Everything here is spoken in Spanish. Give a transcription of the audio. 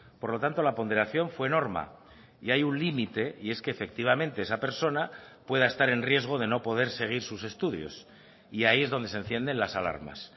por lo tanto la ponderación fue norma y hay un límite y es que efectivamente esa persona pueda estar en riesgo de no poder seguir sus estudios y ahí es donde se encienden las alarmas